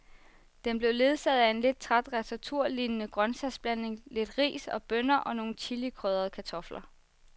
Den blev ledsaget af en lidt træt ratatouillelignende grøntsagsblanding, lidt ris og bønner og nogle chilikrydrede kartofler.